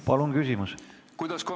Palun küsimust!